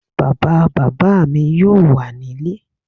Bàbá bàbá mi yóò wà nílé